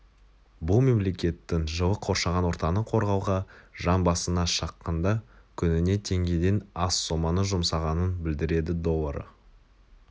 бұл мемлекеттің жылы қоршаған ортаны қорғауға жан басына шаққанда күніне теңгеден аз соманы жұмсағанын білдіреді доллары